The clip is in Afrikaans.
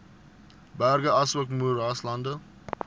berge asook moeraslande